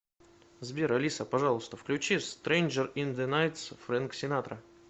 сбер алиса пожалуйста включи стренжер ин зе найтс френк синатра